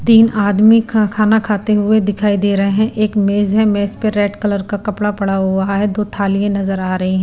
तीन आदमी खा खाना खाते हुए दिखाई दे रहे हैं एक मेज है मेज पर रेड कलर का कपड़ा पड़ा हुआ है दो थालियां नजर आ रही है।